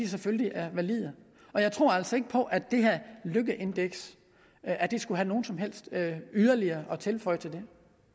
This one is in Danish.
selvfølgelig er valide og jeg tror altså ikke på at det her lykkeindeks skulle have noget som helst yderligere at tilføje til det